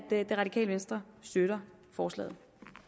det radikale venstre støtter forslaget